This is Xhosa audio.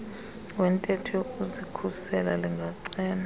wentetho yokuzikhusela lingacela